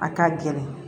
A ka gɛlɛn